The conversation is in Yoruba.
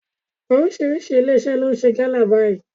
Oríṣiríṣi ilé iṣẹ́ ni ó ń ṣe gálà báyìí.